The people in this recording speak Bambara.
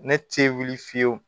Ne tɛ wuli fiyewu